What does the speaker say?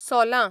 सोलां